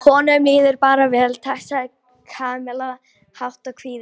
Honum líður bara vel, takk sagði Kamilla kát en kvíðin.